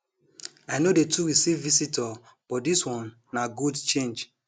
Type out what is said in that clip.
i no dey too receive visitor but dis one na good change